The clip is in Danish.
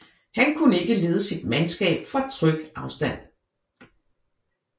Han kunne ikke lede sit mandskab fra tryg afstand